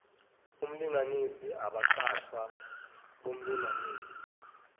omlinganisi abaqashwa bomlinganisi